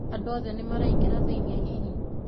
Andũothe nĩmaingĩra thĩiniĩ hihi?